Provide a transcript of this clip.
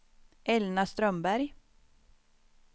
Elna Strömberg